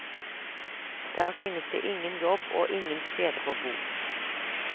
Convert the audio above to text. Der finnes det ingen jobb og ingen steder å bo.